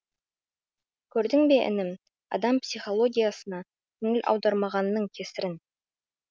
көрдің бе інім адам психологиясына көңіл аудармағанның кесірін